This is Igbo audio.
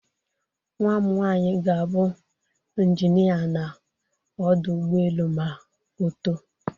Nnwa m nwaanyi ga-abụ Injinịa n'ọdụ ụgbọelu ma oto.